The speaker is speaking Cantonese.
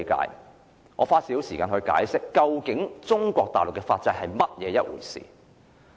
讓我花少許時間解釋中國大陸的法制。